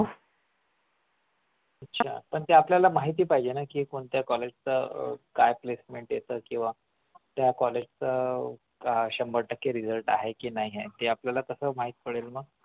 अच्छा पण ते आपल्याला माहिती पाहिजे ना हे कोणत्या कॉलेजच्या काय placement येत किंवा त्या कॉलेजचा शंभर टक्के result आहे की नाही ते आपल्याला कसं माहित पडेल मग